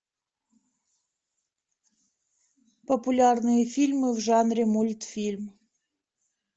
популярные фильмы в жанре мультфильм